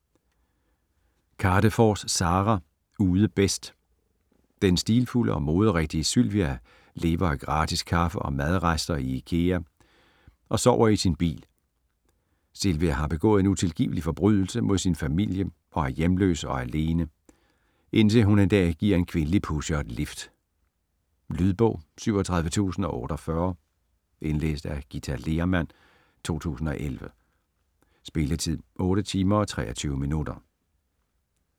Kadefors, Sara: Ude bedst Den stilfulde og moderigtige Sylvia lever af gratis kaffe og madrester i Ikea og sover i sin bil. Sylvia har begået en utilgivelig forbrydelse mod sin familie og er hjemløs og alene, indtil hun en dag giver en kvindelig pusher et lift. Lydbog 37048 Indlæst af Githa Lehrmann, 2011. Spilletid: 8 timer, 23 minutter.